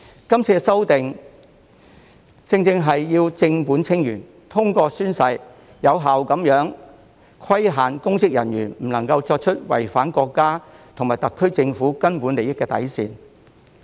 今次修例正是要正本清源，通過宣誓，有效地規限公職人員不能作出違反國家和特區政府根本利益底線的行為。